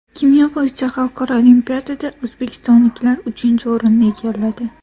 Kimyo bo‘yicha xalqaro olimpiadada o‘zbekistonliklar uchinchi o‘rinni egalladi.